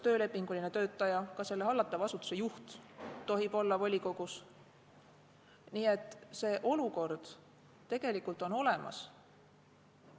Nii et see olukord tegelikult on olemas.